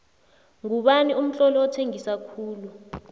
ngubani umtloli othengisa khulu